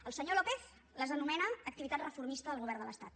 el senyor lópez les anomena activitat reformista del govern de l’estat